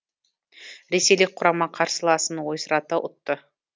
ресейлік құрама қарсыласын ойсырата ұтты